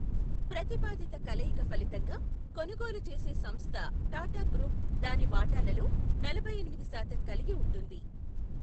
ప్రతిపాదిత కలయిక ఫలితంగా, కొనుగోలు చేసే సంస్థ టాటాగ్రూప్ దాని వాటాలలో నలభై ఎనిమిది శాతం కలిగి ఉంటుంది.